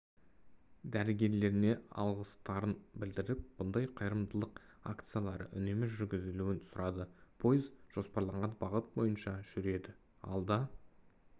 дәрігерлеріне алғыстарын білдіріп бұндай қайырымдылық акциялары үнемі жүргізілуін сұрады пойыз жоспарланған бағыт бойынша жүреді алда